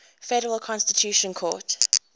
federal constitutional court